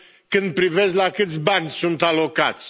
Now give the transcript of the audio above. când privesc la câți bani sunt alocați.